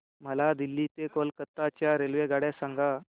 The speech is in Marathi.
मला दिल्ली ते कोलकता च्या रेल्वेगाड्या सांगा